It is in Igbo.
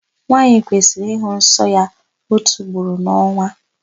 Nwaanyị kwesịrị ịhụ nsọ ya ótù ugboro n'ọnwa.